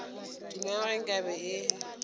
duma ge nka be e